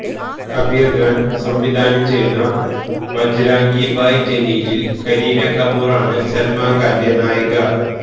കബീര് ഖാന് സംവിധാനം ചെയ്യുന്ന ബജ്റാംഗി ഭായ്ജനില് കരീന കപൂറാണ് സല്മാന്റെ നായിക